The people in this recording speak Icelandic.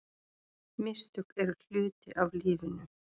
Mistök eru hluti af lífinu.